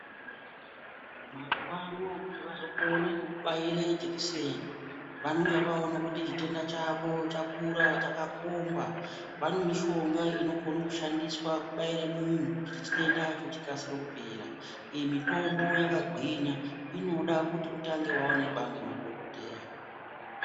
Mazuva ano kuti vazokona kubaira jekiseni vanenge vaona kuti chitenda chako chakakura chakakumba kune mishonga inoshandiswa kubaira munhu kuti mitenda chikasire kupera iyi mitombo yakagwinya inoda itangwe kuonekwa nemadhokodheya.